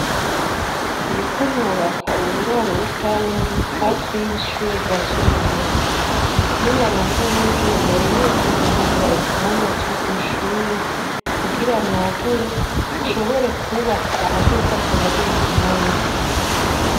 Ndiko nubaka uburaro rusangi hafi y'ishure rya Cibitoke. Ni naronka uburyo, nari nifuza kugura ikibanza c'iryo shure kugira nagure, nshobore kwubaka ahazoza harabera imanza.